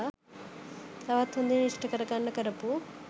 තවත් හොඳින් ඉෂ්ඨ කරගන්න කරපු